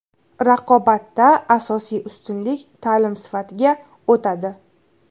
Raqobatda asosiy ustunlik ta’lim sifatiga o‘tadi.